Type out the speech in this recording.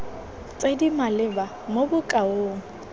tse di maleba mo bokaong